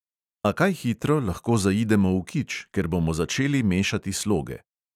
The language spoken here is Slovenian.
A kaj hitro lahko zaidemo v kič, ker bomo začeli mešati sloge.